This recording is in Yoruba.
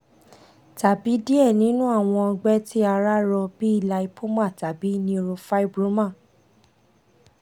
tabi diẹ ninu awọn ọgbẹ ti ara rọ bi lipoma tabi neurofibroma